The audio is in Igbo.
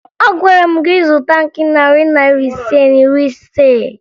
Agwara m gị zụta nke narị Naira ise na iri ise!